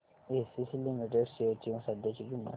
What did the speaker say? ACC limited shares ची सध्याची किंमत